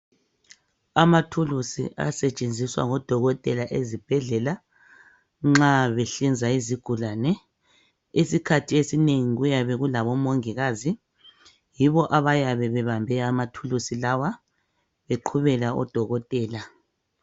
Amathuluzi asetshenziswa ngodokotela ezibhedlela nxa behlinza izigulane. Isikhathi esinengi kuyabe kulabomongikazi, yibo abayabe bebambe amathulusi lawa beqhubela odokotela.